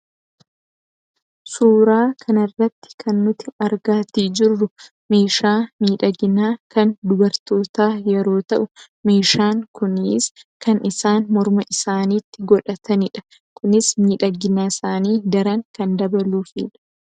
Suuraa kana irratti kan nuti argaatii jirru meeshaa miidhaginaa kan dubartootaa yeroo ta'u meeshaan kunis kan isaan morma isaaniitti godhatanidha. Kunis miidhagina isaanii daran kan dabaluufidha.